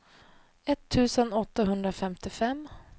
etttusen åttahundrafemtiofem